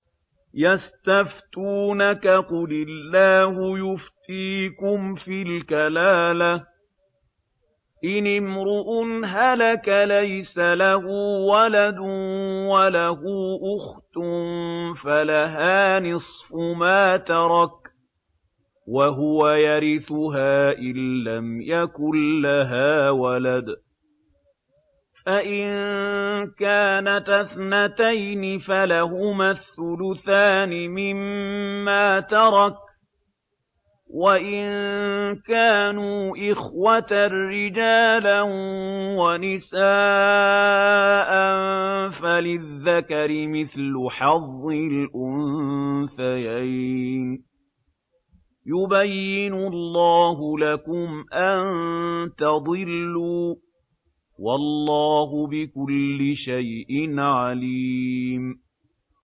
يَسْتَفْتُونَكَ قُلِ اللَّهُ يُفْتِيكُمْ فِي الْكَلَالَةِ ۚ إِنِ امْرُؤٌ هَلَكَ لَيْسَ لَهُ وَلَدٌ وَلَهُ أُخْتٌ فَلَهَا نِصْفُ مَا تَرَكَ ۚ وَهُوَ يَرِثُهَا إِن لَّمْ يَكُن لَّهَا وَلَدٌ ۚ فَإِن كَانَتَا اثْنَتَيْنِ فَلَهُمَا الثُّلُثَانِ مِمَّا تَرَكَ ۚ وَإِن كَانُوا إِخْوَةً رِّجَالًا وَنِسَاءً فَلِلذَّكَرِ مِثْلُ حَظِّ الْأُنثَيَيْنِ ۗ يُبَيِّنُ اللَّهُ لَكُمْ أَن تَضِلُّوا ۗ وَاللَّهُ بِكُلِّ شَيْءٍ عَلِيمٌ